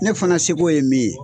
Ne fana seko ye min ye